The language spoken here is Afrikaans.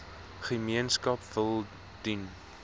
gemeenskap wil dien